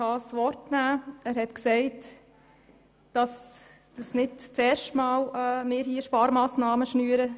Er hat gesagt, dass wir nicht zum ersten Mal Sparpakete schnüren.